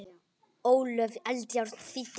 Ólöf Eldjárn þýddi.